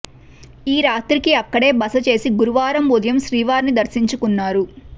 ఈ రాత్రికి అక్కడే బస చేసి గురువారం ఉదయం శ్రీవారిని దర్శించుకున్నారు